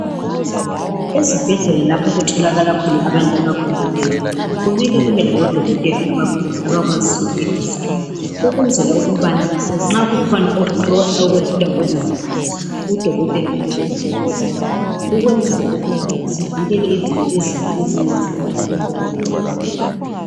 Ezibhedlela lapho okutholakala khona abantu abakhulelweyo kumele kube labodokotela abakhulu abakwaziyo eduze ukwenzela ukubana nxa kukhona okunye okwehlula umongikazi udokotela abekhona eduze ukwenzela ukuthi sivikele izinto ezimbi ezingenzeka ebantwini abakhulelweyo.